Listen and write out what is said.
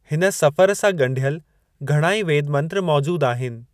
हिन सफ़र सां ॻंढियल घणा ही वेद मंत्र मौजूद आहिनि।